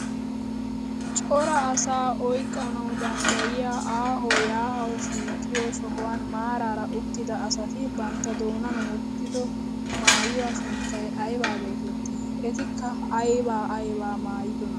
Cora asaa oyqqanawu danddayiyaa aaho yaa'awu shiiqiyoo sohuwaan maarara uttida asati bantta doonan wottido maayuwaa sunttay aybaa getettii? etikka aybaa aybaa maayidonaa?